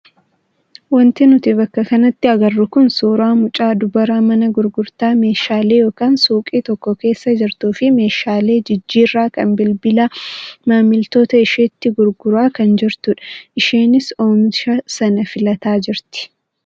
Wanti nuti bakka kanatti agarru kun suuraa mucaa dubaraa mana gurgurtaa meeshaalee yookaan suuqii tokko keessa jirtuu fi meeshaalee jijjiirraa kan bilbilaa maamiltoota isheetti gurguraa kan jirtudha. Isheenis oomisha sana filataa jirti.